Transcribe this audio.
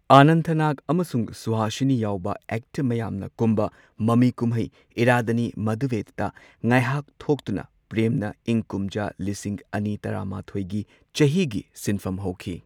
ꯑꯅꯟꯊ ꯅꯥꯒ ꯑꯃꯁꯨꯡ ꯁꯨꯍꯁꯤꯅꯤ ꯌꯥꯎꯕ ꯑꯦꯛꯇꯔ ꯃꯌꯥꯝꯅ ꯀꯨꯝꯕ ꯃꯃꯤꯀꯨꯝꯍꯩ ꯏꯔꯥꯗꯅꯤ ꯃꯗꯨꯚꯦꯗ ꯉꯥꯢꯍꯥꯛ ꯊꯣꯛꯇꯨꯅ ꯄ꯭ꯔꯦꯝꯅ ꯏꯪ ꯀꯨꯝꯖꯥ ꯂꯤꯁꯤꯡ ꯑꯅꯤ ꯇꯔꯥꯃꯥꯊꯣꯏꯒꯤ ꯆꯍꯤꯒꯤ ꯁꯤꯟꯐꯝ ꯍꯧꯈꯤ꯫